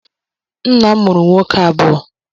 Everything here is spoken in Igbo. Nna'm mụrụ nwoke abuo.